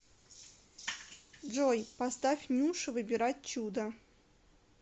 джой поставь нюша выбирать чудо